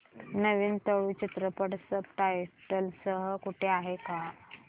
नवीन तुळू चित्रपट subtitles सह कुठे आहे का